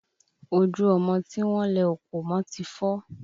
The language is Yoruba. Ojú ọmọ tí wọ́n lẹ òkò mọ ti fọ́